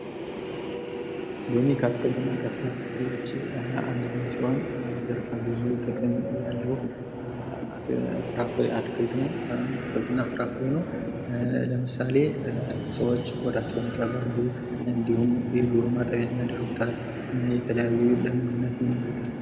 ሎሚ ከአትክልትና ከፍራፍሬዎች አንደኛው ሲሆን ዘርፈ ብዙ ጥቅም ያለው ፍራፍሬ አትክልት ነው። አትክልትና ፍራፍሬ ነው ።ለምሳሌ ሰዎች ቆዳቸውን ይቀባሉ እንዲሁም የዶሮ ማጠቢያም ያደርጉታል የተለያዩ ለምግብነትም ያወሉታል።